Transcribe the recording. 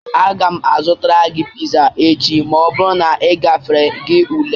Aga m azụtara gị pizza echi ma ọ bụrụ na ị gafere gị ule